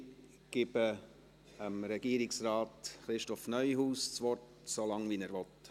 Ich gebe Regierungsrat Christoph Neuhaus das Wort – so lange er will.